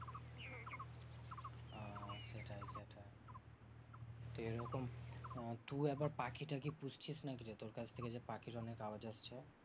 তো এরকম তু একবার পাখি টাখি পুষছিস নাকিরে? তোর কাছ থেকে যে পাখির অনেক আওয়াজ আসছে।